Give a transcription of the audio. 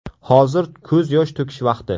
Hozir ko‘z yosh to‘kish vaqti.